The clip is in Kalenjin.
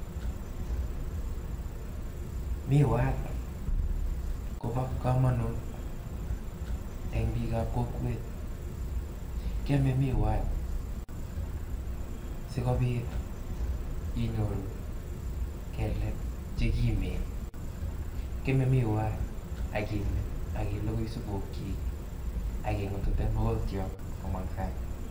Miwat kobo kamanut eng' bik ab kokwet. Kiame miwat sikobiit inyoru kelek che kimen, kiame miwat ak imit ak iligui supuk chik ak ing'utute mogotiot komong' sang'.